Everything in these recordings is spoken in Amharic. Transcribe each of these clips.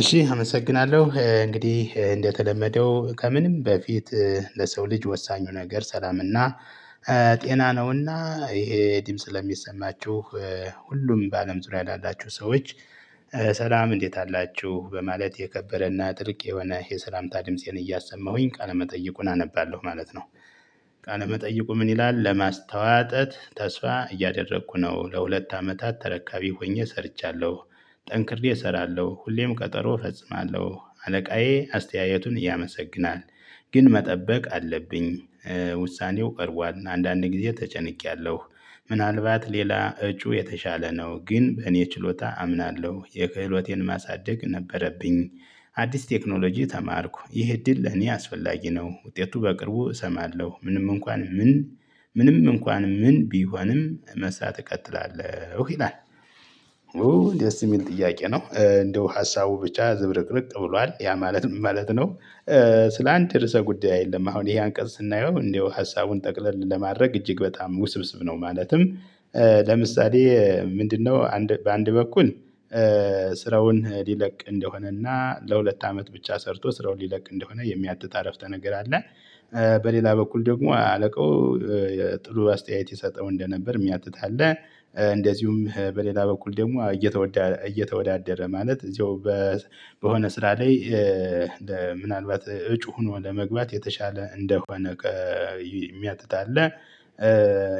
እሺ አመሰግናለሁ እንግዲህ እንደተለመደው ከምንም በፊት ለሰው ልጅ ወሳኙ ነገር ሰላምና ጤና ነውና ይሄ ድምጽ ለሚሰማችሁ ሁሉም በአለም ዙሪያ ላላችሁ ሰዎች ሰላም እንዴት አላችሁ በማለት የከበረና ጥልቅ የሆነ የሰላምታ ድምፄን እያሰማሁኝ ቃለመጠየቁን አነባለሁ ማለት ነው። ቃለ መጠይቁ ምን? ይላል ለማስተዋጠት ተስፋ እያደረኩ ነው ለሁለት አመታት ተረካቢ ሆኜ ሰርቻለሁ። ጠንክሬ እሰራለሁ ሁሌም ቀጠሮ እፈጽማለሁ አለቃዬ አስተያየቱን ያመሰግናል። ግን መጠበቅ አለብኝ። ውሳኔው ቀርቧል አንዳንድ ጊዜ ተጨንቄያለሁ። ምናልባት ሌላ እጩ የተሻለ ነው ግን በእኔ ችሎታ አምናለሁ የክህሎቴን ማሳደግ ነበረብኝ። አዲስ ቴክኖሎጂ ተማርኩ ይሄ እድል ለኔ አስፈላጊ ነው። ውጤቱ በቅርቡ እሰማለሁ ምንም እንኳን ምን ምንም እንኳን ምን ቢሆንም መስራት እቀጥላለሁ ይላል። ደስ የሚል ጥያቄ ነው። እንደው ሀሳቡ ብቻ ዝብርቅርቅ ብሏል ያ ማለት ምን? ማለት ነው። ስለ አንድ ርዕሰ ጉዳይ አደለም አሁን ይሄ አንቀጽ ስናየው እንደው ሀሳቡን ጠቅለል ለማድረግ እጅግ በጣም ውስብስብ ነው። ማለትም ለምሳሌ ምንድነው? በአንድ በኩል ስራውን ሊለቅ እንደሆነና ለሁለት አመት ብቻ ሰርቶ ስራውን ሊለቅ እንደሆነ የሚያትት አረፍቸ ነገር አለ። በሌላ በኩል ደግሞ አለቃው ጥሩ አስተያየት ይሰጠው እንደነበር የሚያትት አለ። እንደዚሁም በሌላ በኩል ደግሞ እየተወዳደረ ማለት እዚሁ በሆነ ስራ ላይ ምናልባት እጩ ሆኖ ለመግባት የተሻለ እንደሆነ የሚያትት አለ።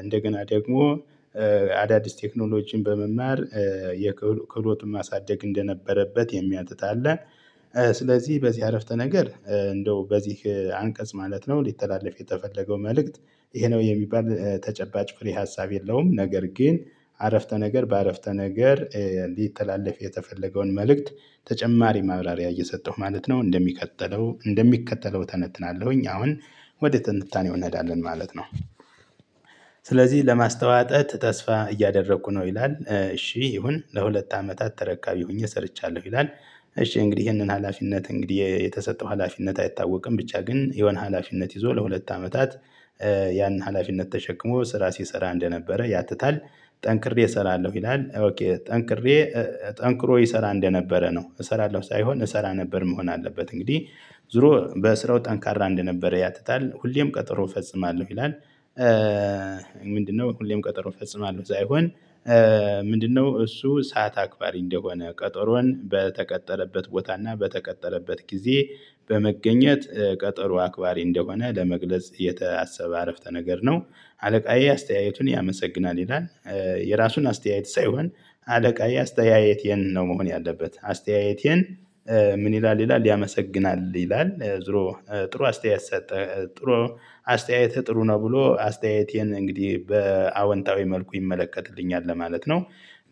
እንደገና ደግሞ አዳዲስ ቴክኖሎጂን በመማር ክህሎቱን ማሳደግ እንደነበረበት የሚያትት አለ። ስለዚህ በዚህ አረፍተ ነገር እንደው በዚህ አንቀጽ ማለት ነው ሊተላለፍ የተፈለገው መልእክት ይሄ ነው የሚባል ተጨባጭ ፍሬ ሀሳብ የለውም። ነገር ግን አረፍተ ነገር በአረፍተ ነገር ሊተላለፍ የተፈለገውን መልእክት ተጨማሪ ማብራሪያ እየሰጠሁ ማለት ነው። እንደሚቀጥለው እንደሚከተለው እተነትናለሁኝ አሁን ወደ ትንታኔ እንሄዳለን ማለት ነው። ስለዚህ ለማስተዋጠት ተስፋ እያደረኩ ነው ይላል እሺ ይሁን ለሁለት አመታት ተረካቢ ሆኜ ሰርቻለሁ ይላል። እሺ እንግዲህ ይሄንን ሀላፊነት እንግዲህ የተሰጠው ሀላፊነት አይታወቅም ብቻ ግን የሆነ ሀላፊነት ይዞ ለሁለት አመታት ያን ሀላፊነት ተሸክሞ ስራ ሲሰራ እንደነበረ ያትታል። ጠንክሬ እሰራለሁ ይላል። ጠንክሬ ጠንክሮ ይሰራ እንደነበረ ነው እሰራለሁ ሳይሆን እሰራ ነበር መሆን አለበት እንግዲህ ዙሮ በስራው ጠንካራ እንደነበረ ያትታል ሁሌም ቀጠሮ እፈጽማለሁ ይላል። ምንድነው? ሁሌም ቀጠሮ እፈጽማለሁ ሳይሆን። ምንድነው? እሱ ሰዓት አክባሪ እንደሆነ ቀጠሮን በተቀጠረበት ቦታ እና በተቀጠረበት ጊዜ በመገኘት ቀጠሮ አክባሪ እንደሆነ ለመግለጽ የታሰበ አረፍተ ነገር ነው። አለቃዬ አስተያየቱን ያመሰግናል ይላል። የራሱን አስተያየት ሳይሆን አለቃዬ አስተያየቴን ነው መሆን ያለበት አስተያየቴን ምን? ይላል ይላል ያመሰግናል ይላል ዝሮ ጥሩ አስተያየት ሰጠ ጥሩ አስተያየት ጥሩ ነው ብሎ አስተያየቴን እንግዲህ በአወንታዊ መልኩ ይመለከትልኛል ለማለት ነው።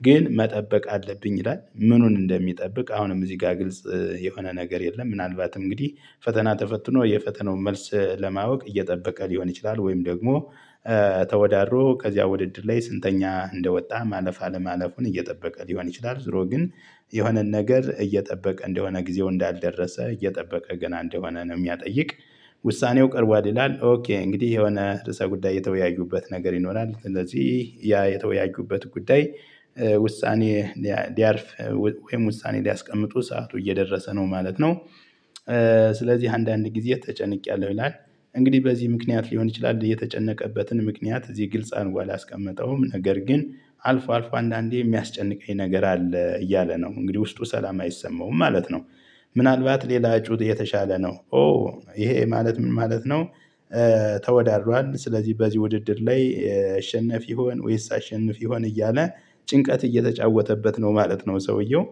ግን መጠበቅ አለብኝ ይላል ምኑን እንደሚጠብቅ አሁንም እዚህ ጋር ግልጽ የሆነ ነገር የለም። ምናልባት እንግዲህ ፈተና ተፈትኖ የፈተናውን መልስ ለማወቅ እየጠበቀ ሊሆን ይችላል። ወይም ደግሞ ተወዳድሮ ከዚያ ውድድር ላይ ስንተኛ እንደወጣ ማለፍ አለማለፉን እየጠበቀ ሊሆን ይችላል። ዙሮ ግን የሆነን ነገር እየጠበቀ እንደሆነ ጊዜው እንዳልደረሰ እየጠበቀ ገና እንደሆነ ነው የሚያጠይቅ። ውሳኔው ቀርቧል ይላል ኦኬ እንግዲህ የሆነ ርዕሰ ጉዳይ የተወያዩበት ነገር ይኖራል ስለዚህ ያ የተወያዩበት ጉዳይ ውሳኔ ሊያርፍ ወይም ውሳኔ ሊያስቀምጡ ሰዓቱ እየደረሰ ነው ማለት ነው። ስለዚህ አንዳንድ ጊዜ ተጨንቄያለሁ ይላል። እንግዲህ በዚህ ምክንያት ሊሆን ይችላል የተጨነቀበትን ምክንያት እዚህ ግልጽ አድርጎ አላስቀመጠውም ነገር ግን አልፎ አልፎ አንዳንዴ የሚያስጨንቀኝ ነገር አለ እያለ ነው እንግዲህ ውስጡ ሰላም አይሰማውም ማለት ነው። ምናልባት ሌላ እጩ የተሻለ ነው። ኦ ይሄ ማለት ምን ማለት ነው? ተወዳድሯል ስለዚህ በዚህ ውድድር ላይ እሸነፍ ይሆን ወይስ አሸንፍ ይሆን እያለ ጭንቀት እየተጫወተበት ነው ማለት ነው። ሰውየው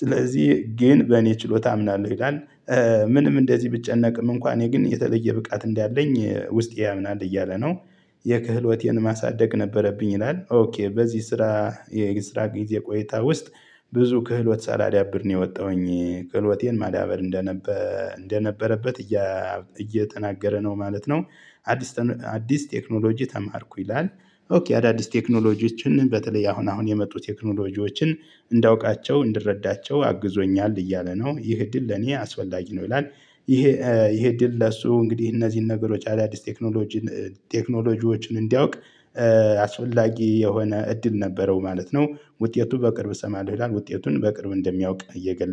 ስለዚህ ግን በእኔ ችሎታ አምናለሁ ይላል። ምንም እንደዚህ ብጨነቅም እንኳን እኔ ግን የተለየ ብቃት እንዳለኝ ውስጤ ያምናል እያለ ነው። የክህሎቴን ማሳደግ ነበረብኝ። ይላል ኦኬ በዚህ ስራ የስራ ጊዜ ቆይታ ውስጥ ብዙ ክህሎት ሳላዳብር ነው የወጣሁኝ ክህሎቴን ማዳበር እንደነበረበት እየተናገረ ነው ማለት ነው። አዲስ ቴክኖሎጂ ተማርኩ ይላል። አዳዲስ ቴክኖሎጂዎችን በተለይ አሁን አሁን የመጡ ቴክኖሎጂዎችን እንዳውቃቸው እንድረዳቸው አግዞኛል እያለ ነው ይሄ እድል ለኔ አስፈላጊ ነው ይላል። ይሄ ይሄ እድል ለሱ እንግዲህ እነዚህን ነገሮች አዳዲስ ቴክኖሎጂን ቴክኖሎጂዎችን እንዲያውቅ አስፈላጊ የሆነ እድል ነበረው ማለት ነው። ውጤቱ በቅርብ እሰማለሁ ይላል ውጤቱን በቅርብ እንደሚያውቅ እየገለጸ